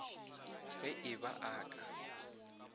ge e ba a ka